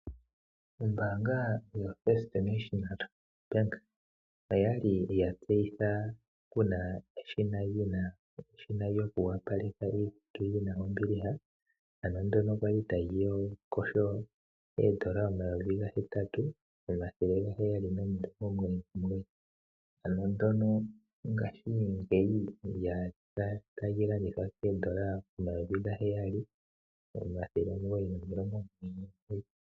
Ombaanga yotango yopashigwana oya li ya tseyitha Kuna eshina lyokuyoga, ndjoka lya li ta li kotha gondola omayovi ga hetatu omathele omugoyi nomilongo omugoyi nomugoyi, ihe ngaashi ngeyi ota li kotha oodola omayovi ga healing omathele omugoyi nomilongo omugoyi nomugoyi.